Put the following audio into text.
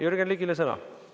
Jürgen Ligile sõna.